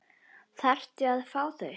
Þarftu að fá þau?